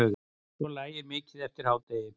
Svo lægir mikið eftir hádegi.